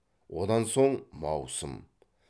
одан соң маусым